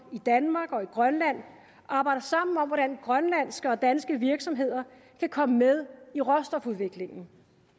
i danmark og i grønland arbejder sammen om hvordan grønlandske og danske virksomheder kan komme med i råstofudvindingen